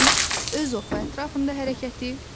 Yerin öz oxu ətrafında hərəkəti.